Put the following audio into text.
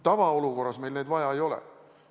Tavaolukorras meil neid inimesi vaja ei ole.